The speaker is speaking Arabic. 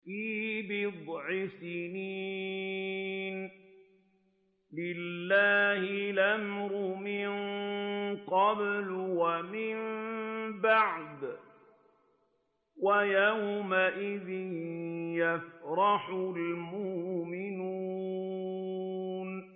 فِي بِضْعِ سِنِينَ ۗ لِلَّهِ الْأَمْرُ مِن قَبْلُ وَمِن بَعْدُ ۚ وَيَوْمَئِذٍ يَفْرَحُ الْمُؤْمِنُونَ